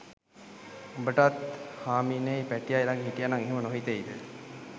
උඹටත් හාමිනෙයි පැටියයි ලඟ හිටියනං එහෙම නොහිතෙයිද?